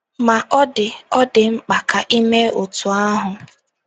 Ma, ọ dị ọ dị mkpa ka i mee otú ahụ.